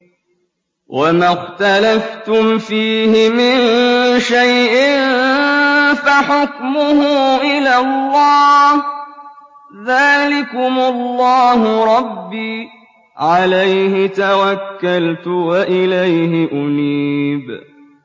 وَمَا اخْتَلَفْتُمْ فِيهِ مِن شَيْءٍ فَحُكْمُهُ إِلَى اللَّهِ ۚ ذَٰلِكُمُ اللَّهُ رَبِّي عَلَيْهِ تَوَكَّلْتُ وَإِلَيْهِ أُنِيبُ